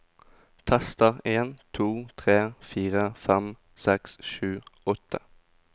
Tester en to tre fire fem seks sju åtte